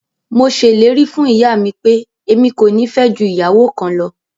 Mo sẹlẹ̀rì fún iyàmi pẹ̀, ẹ̀mi kò ní fẹ́ jù iyàwọ kàn lọ.